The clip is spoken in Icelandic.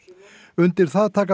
undir það taka